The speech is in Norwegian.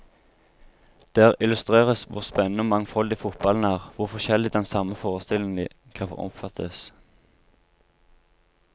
Der illustreres hvor spennende og mangfoldig fotballen er, hvor forskjellig den samme forestillingen kan oppfattes.